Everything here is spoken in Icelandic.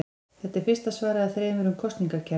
Þetta er fyrsta svarið af þremur um kosningakerfið.